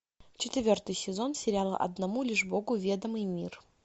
четвертый сезон сериала одному лишь богу ведомый мир